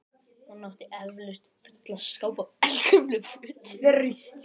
Hún átti eflaust fulla skápa af eldgömlum fötum.